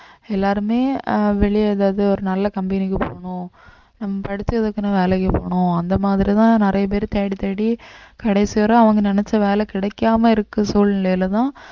எல்லாருமே ஆஹ் வெளிய அதாவது ஒரு நல்ல company க்கு போகணும் நம்ம படிச்சதுக்குன்னு வேலைக்கு போனோம் அந்த மாதிரிதான் நிறைய பேர் தேடித்தேடி கடைசி வரை அவங்க நினைச்ச வேலை கிடைக்காம இருக்க சூழ்நிலையிலதான்